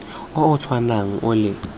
o o tshwanang o le